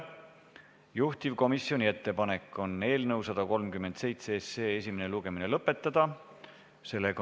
Juhtivkomisjoni ettepanek on eelnõu 137 esimene lugemine lõpetada.